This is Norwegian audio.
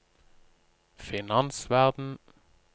finansverden